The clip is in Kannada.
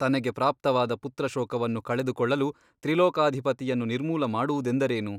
ತನಗೆ ಪ್ರಾಪ್ತವಾದ ಪುತ್ರಶೋಕವನ್ನು ಕಳೆದುಕೊಳ್ಳಲು ತ್ರಿಲೋಕಾಧಿಪತಿಯನ್ನು ನಿರ್ಮೂಲ ಮಾಡುವುದೆಂದರೇನು?